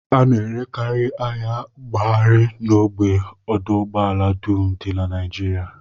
A na-erekarị ahịa mbugharị n'ógbè ọdụụgbọala dum dị na Naijiria